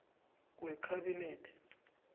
wekhabinethe